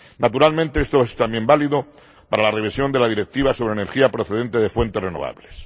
Naturalmente, esto es también válido para la revisión de la Directiva sobre energía procedente de fuentes renovables.